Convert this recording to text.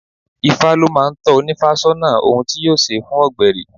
Ifá ló máa ń tọ́ ónífá sọ́nà ohun tí yóò ṣe fún ọgbẹri.